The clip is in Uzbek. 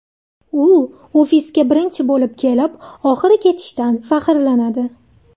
U ofisga birinchi bo‘lib kelib, oxiri ketishidan faxrlanadi.